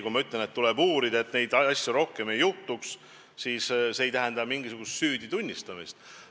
Kui ma ütlen, et juhtunut tuleb uurida, et niisuguseid asju rohkem ei juhtuks, siis see ei tähenda enda süüdi tunnistamist.